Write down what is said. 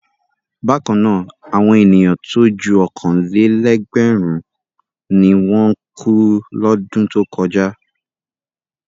Bákan náà, àwọn ènìyàn tó ju ọ̀kan-lé-ẹgbẹ̀rún ni wọ́n kú lọ́dún tó kọ̀já.